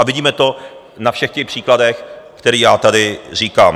A vidíme to na všech těch příkladech, které já tady říkám.